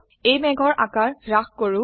এই মেঘৰ আকাৰ হ্ৰাস কৰো